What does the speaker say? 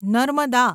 Narmada